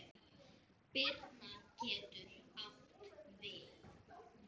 Birna getur átt við